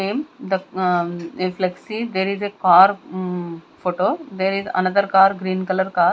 the a flexy there is a car mm photo there is another car green colour car.